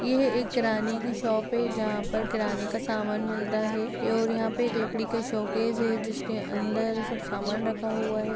यह एक किराने की शॉप है जहाँ पर किराने का समान मिलता है और यहाँ पे लकड़ी का शोकेस है जिसके अंदर सब समान रखा हुआ हैं।